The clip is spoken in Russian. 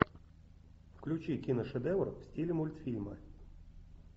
включи киношедевр в стиле мультфильма